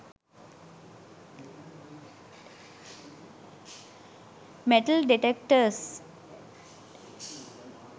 metal detectors